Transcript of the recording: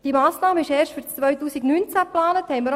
Diese Massnahme ist erst für das Jahr 2019 geplant.